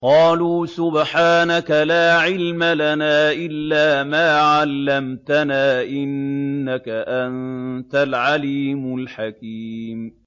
قَالُوا سُبْحَانَكَ لَا عِلْمَ لَنَا إِلَّا مَا عَلَّمْتَنَا ۖ إِنَّكَ أَنتَ الْعَلِيمُ الْحَكِيمُ